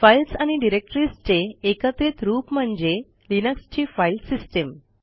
files आणि डिरेक्टरीजचे एकत्रित रूप म्हणजे लिनक्सची फाईल सिस्टीम